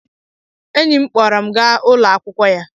Enyi m kpọrọ m ga ụlọ akwụkwọ ya.